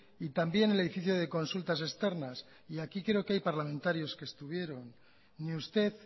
y también el edificio de consultas externas y aquí creo que hay parlamentarios que estuvieron ni usted